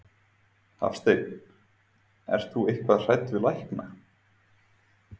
Hafsteinn: Ert þú eitthvað hrædd við lækna?